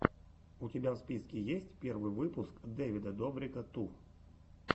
у тебя в списке есть первый выпуск дэвида добрика ту